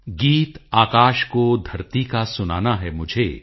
ਗੀਤ ਆਕਾਸ਼ ਕੋ ਧਰਤੀ ਕਾ ਸੁਨਾਨਾ ਹੈ ਮੁਝੇ